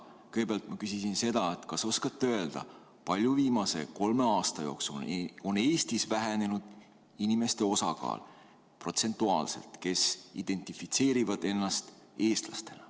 Kõigepealt ma küsisin seda, kas oskate öelda, kui palju viimase kolme aasta jooksul on Eestis vähenenud nende inimeste osakaal protsentuaalselt, kes identifitseerivad ennast eestlasena.